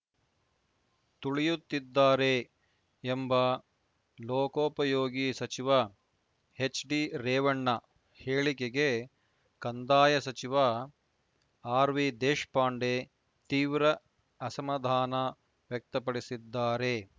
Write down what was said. ತುಳಿಯುತ್ತಿದ್ದಾರೆ ಎಂಬ ಲೋಕೋಪಯೋಗಿ ಸಚಿವ ಎಚ್‌ಡಿರೇವಣ್ಣ ಹೇಳಿಕೆಗೆ ಕಂದಾಯ ಸಚಿವ ಆರ್‌ವಿದೇಶಪಾಂಡೆ ತೀವ್ರ ಅಸಮಾಧಾನ ವ್ಯಕ್ತಪಡಿಸಿದ್ದಾರೆ